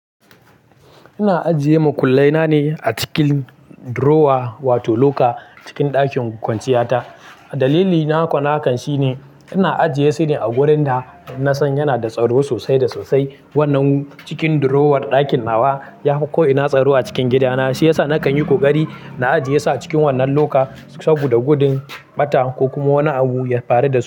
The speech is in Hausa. Ina ajiye makullai na ne a cikin drawer wato locker cikin ɗakin kwanciya ta. Dalili nako na hakan shi ne, ina ajiye su ne a wurin da na san yana da tsaro sosai da sosai. Wannan cikin drawer ɗakin nawa yafi ko'ina tsaro a cikin gida na shiyasa na kan yi ƙoƙari na ajiye su a cikin wannan loka saboda gudun ɓata ko kuma wani abu ya faru da su.